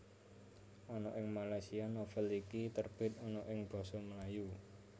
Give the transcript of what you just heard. Ana ing Malaysia novel iki terbit ana ing basa Melayu